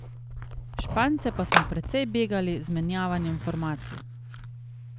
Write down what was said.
Špance pa smo precej begali z menjavanjem formacij.